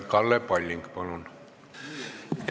Kalle Palling, palun!